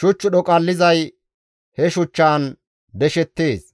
Shuch dhoqallizay he shuchchaan deshettees;